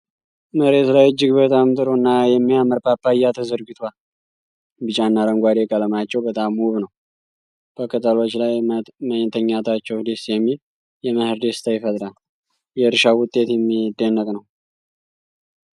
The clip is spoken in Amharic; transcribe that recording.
መሬት ላይ እጅግ በጣም ጥሩ እና የሚያምር ፓፓያ ተዘርግቷል። ቢጫና አረንጓዴ ቀለማቸው በጣም ውብ ነው። በቅጠሎች ላይ መተኛታቸው ደስ የሚል የመኸር ደስታ ይፈጥራል። የእርሻው ውጤት የሚደንቅ ነው።